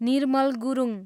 Nirmal Gurung